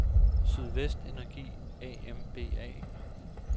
Sydvest Energi A M B A